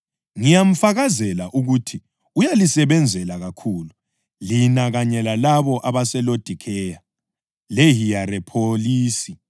Ngiyamfakazela ukuthi uyalisebenzela kakhulu lina kanye lalabo abaseLodikheya leHiyerapholisi.